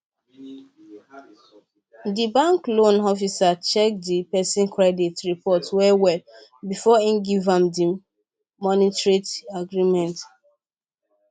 the bank loan officer check the person credit report well well before him give am the agreement